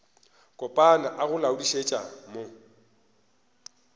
kopana a go laodišetša mo